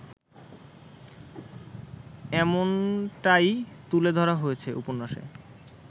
এমনটাই তুলে ধরা হয়েছে উপন্যাসে